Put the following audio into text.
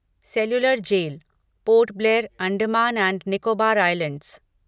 cellular Jail Port Blair, Andaman and Nicobar islands